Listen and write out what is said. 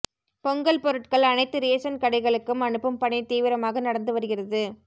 பொங்கல் பொருட்கள் அனைத்து ரேசன் கடைகளுக்கும் அனுப்பும் பணி தீவிரமாக நடந்து வருகிறது